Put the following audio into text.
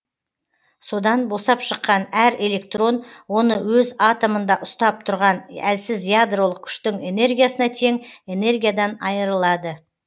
содан босап шыққан әр электрон оны өз атомында ұстап тұрған әлсіз ядролық күштің энергиясына тең энергиядан айырылады